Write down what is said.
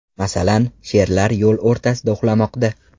Masalan, sherlar yo‘l o‘rtasida uxlamoqda .